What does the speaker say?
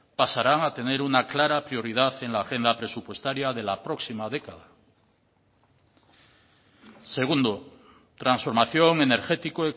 pasarán a tener una clara prioridad en la agenda presupuestaria de la próxima década segundo transformación energético